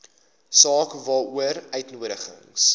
saak waaroor uitnodigings